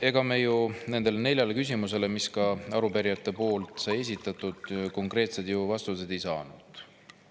Ega me ju nendele neljale küsimusele, mille arupärijad esitasid, konkreetseid vastuseid ei saanud.